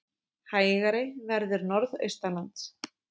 Hægari verður norðaustanlands